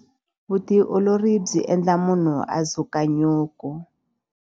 Vutiolori byi endla munhu a dzuka nyuku.